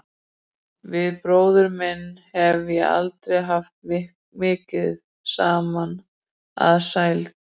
Við bróður minn hef ég aldrei haft mikið saman að sælda.